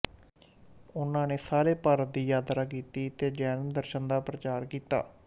ਉਹਨਾਂ ਨੇ ਸਾਰੇ ਭਾਰਤ ਦੀ ਯਾਤਰਾ ਕੀਤੀ ਤੇ ਜੈਨ ਦਰਸ਼ਨ ਦਾ ਪ੍ਰਚਾਰ ਕੀਤਾ